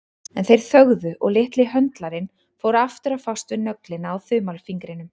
En þeir þögðu og litli höndlarinn fór aftur að fást við nöglina á þumalfingrinum.